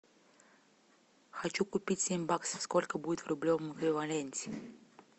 хочу купить семь баксов сколько будет в рублевом эквиваленте